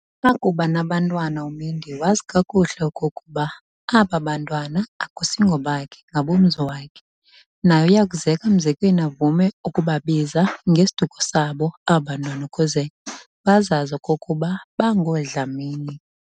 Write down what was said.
Akuba nabantwana uMendi, wazi kakuhle okokuba aba bantwana akusingobakhe ngabomzi wakhe. Naye uyakuzeka mzekweni avame ukubabiza ngesiduko sabo aba bantwana ukuze bazazi okokuba bangooDlamini.